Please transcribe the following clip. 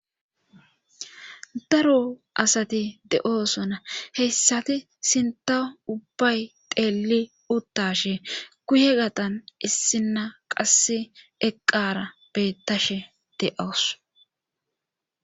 Daro asati de'oosona heyssati sinta ubbay teeli uttashe kuye gatan issinna qasse eqqara bettashe de'owus